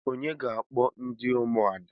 Onye ga-akpọ ndị ụmụada?